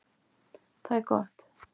Það er gott